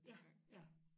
Ja ja